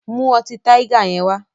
Mú ọtí Tiger yẹn wá!